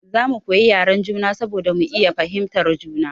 Za mu koyi yaren juna saboda mu iya fahimtar juna.